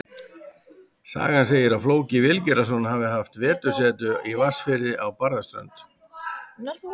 Sagan segir að Flóki Vilgerðarson hafi haft vetursetu í Vatnsfirði á Barðaströnd.